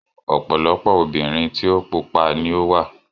Ọ̀pọ̀lọpọ̀ obìnrin tí o pupa ni ó wà.